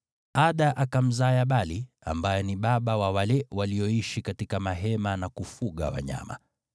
Ada akamzaa Yabali ambaye ni baba wa wale walioishi katika mahema na kufuga wanyama.